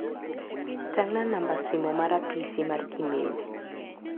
Tang'na namba simo mar apisi mar Kimeu.